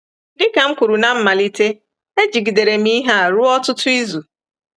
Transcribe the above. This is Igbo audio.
Dị ka m kwuru ná mmalite, ejigidere m ihe a ruo ọtụtụ izu.